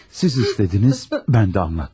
Siz istədiniz, mən də anlattım.